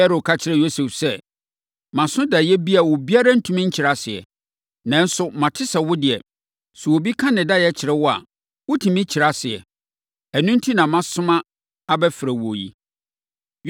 Farao ka kyerɛɛ Yosef sɛ, “Maso daeɛ bi a obiara ntumi nkyerɛ aseɛ. Nanso, mate sɛ wo deɛ, sɛ obi ka ne daeɛ kyerɛ wo a, wotumi kyerɛ aseɛ. Ɛno enti na masoma abɛfrɛ wo yi.”